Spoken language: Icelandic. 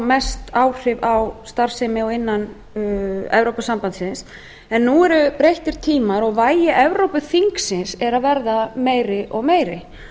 mest áhrif á starfsemi innan evrópusambandsins en nú eru breyttir tímar og vægi evrópuþingsins eru að verða meiri og meiri